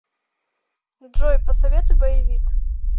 джой посоветуй боевик